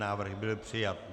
Návrh byl přijat.